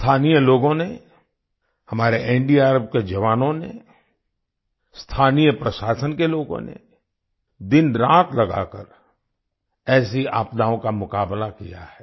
स्थानीय लोगों ने हमारे एनडीआरएफ के जवानों ने स्थानीय प्रशासन के लोगों ने दिनरात लगाकर ऐसी आपदाओं का मुकाबला किया है